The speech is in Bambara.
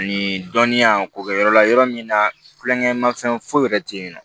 Ani dɔnniya ko kɛ yɔrɔ la yɔrɔ min na tulonkɛ mafɛn foyi wɛrɛ tɛ yen nɔ